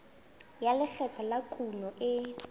ya lekgetho la kuno e